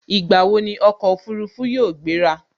Ìgbà wo ni ọkọ̀ Òfurufú yóò gbera